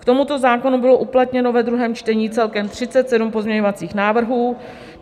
K tomuto zákonu bylo uplatněno ve druhém čtení celkem 37 pozměňovacích návrhů.